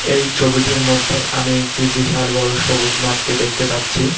এই ছবিটির মধ্যে আমি একটি বিশাল বড়ো সবুজ মাঠকে দেখতে পাচ্ছি।